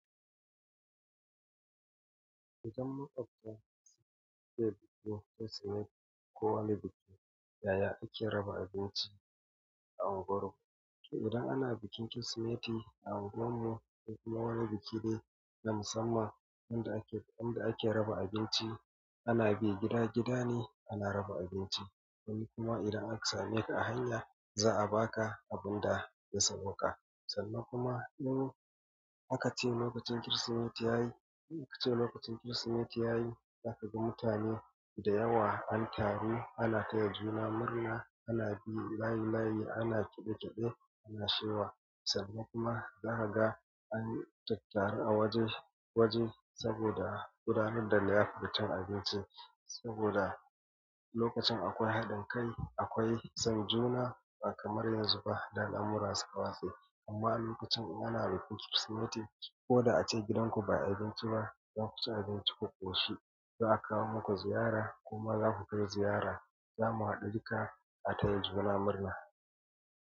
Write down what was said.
Idan ma'aikata suke biki Kirsimeti ko wani biki, yaya ake raba abinci a unguwar ku? Idan ana bikin Kirsimeti a unguwar mu ko kuma wani biki dai na musamman yanda ake, yanda ake raba abinci, ana bi gida-gida ne ana raba abinci. Sannan kuma idan aka same ka a hanya, za a baka abun da ya sawaƙa. Sannan kuma in aka ce lokacin Kirsimeti ya yi, aka ce lokacin Kirsimeti ya yi, zaka ga mutane da yawa an taru, ana taya juna murna, ana bi layi-layi, ana kiɗe-kiɗe, ana shewa. Sannan kuma zaka ga an tattara waje-waje saboda gudanar da liyafa cin abinci saboda lokacin akwai haɗin kai, akwai son juna ba kamar yanzu ba da al'amuran suka watse. Amma lokacin in ana bikin Kirsimeti ko da ace gidanku ba ayi abinci ba, za ku ci abinci ku ƙoshi. Za a kawo muku ziyara kuma za ku kai ziyara. Zamu haɗu duka a taya juna murna.